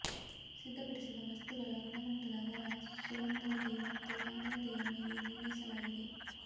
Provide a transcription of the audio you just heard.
ಸಿದ್ಧಪಡಿಸಿದ ವಸ್ತುಗಳ ಗುಣಮಟ್ಟದ ಅದರ ಸರಂಧ್ರತೆ ಮತ್ತು ಸಾಂದ್ರತೆಯ ಮೇಲೆ ನಿರ್ಣಯಿಸಲಾಗಿದೆ